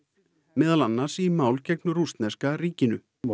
meðal annars í máli gegn rússneska ríkinu og